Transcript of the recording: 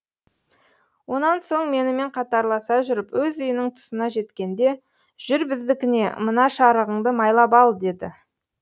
онан соң менімен қатарласа жүріп өз үйінің тұсына жеткенде жүр біздікіне мына шарығыңды майлап ал деді